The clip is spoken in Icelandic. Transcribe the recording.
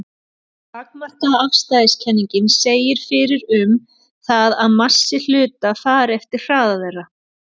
Takmarkaða afstæðiskenningin segir fyrir um það að massi hluta fari eftir hraða þeirra.